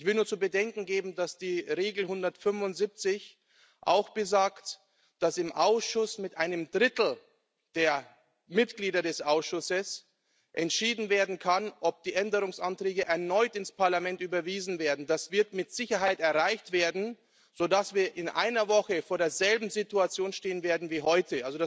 Ich will nur zu bedenken geben, dass Artikel 175 auch besagt, dass im Ausschuss mit einem Drittel der Mitglieder des Ausschusses entschieden werden kann, ob die Änderungsanträge erneut ins Parlament überwiesen werden. Das wird mit Sicherheit erreicht werden, sodass wir in einer Woche vor derselben Situation stehen werden wie heute.